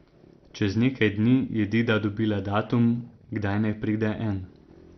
Čez nekaj dni je Dida dobila datum, kdaj naj pride En.